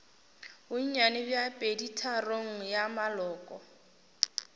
bonnyane bja peditharong ya maloko